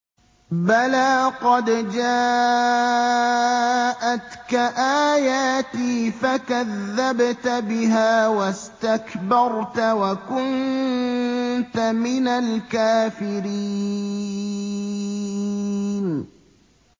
بَلَىٰ قَدْ جَاءَتْكَ آيَاتِي فَكَذَّبْتَ بِهَا وَاسْتَكْبَرْتَ وَكُنتَ مِنَ الْكَافِرِينَ